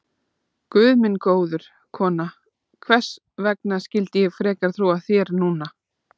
Guð minn góður, kona, hvers vegna skyldi ég frekar trúa þér núna?